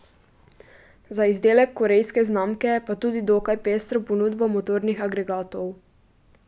Za izdelek korejske znamke pa tudi dokaj pestro ponudbo motornih agregatov.